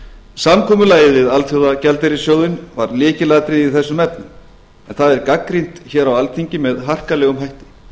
samkomulagið við alþjóðagjaldeyrissjóðinn var lykilatriði í þessum efnum en það er gagnrýnt hér á alþingi með harkalegum hætti